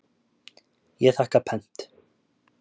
Ég þakka pent.